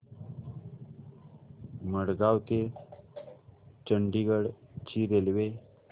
मडगाव ते चंडीगढ ची रेल्वे